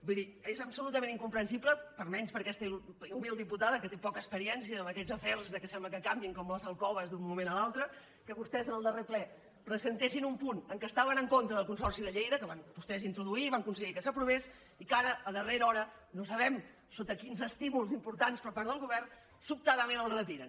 vull dir és absolutament incomprensible almenys per a aquesta humil diputada que té poca experiència en aquests afers que sembla que canviïn com les alcoves d’un moment a l’altre que vostès en el darrer ple presentessin un punt en què estaven en contra del consorci de lleida que van vostès introduir i van aconseguir que s’aprovés i que ara a darrera hora no sabem sota quins estímuls importants per part del govern sobtadament el retiren